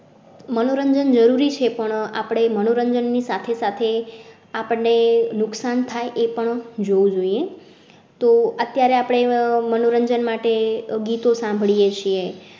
મનોરંજન જરૂરી છે, પણ આપણે મનોરંજન ની સાથે સાથે આપણે નુકસાન થાય એ પણ જોવું જોઈએ તો અત્યારે આપણે મનોરંજન માટે ગીતો સાંભળીએ છીએ.